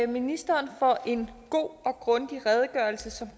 ministeren for en god og grundig redegørelse som